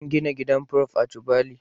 An gina gidan Prof da tubali